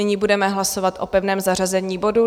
Nyní budeme hlasovat o pevném zařazení bodu.